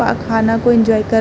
और खाना को एन्जॉय कर --